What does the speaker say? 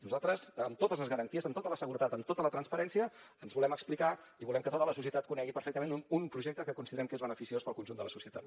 nosaltres amb totes les garanties amb tota la seguretat amb tota la transparència ens volem explicar i volem que tota la societat conegui perfectament un projecte que considerem que és beneficiós per al conjunt de la societat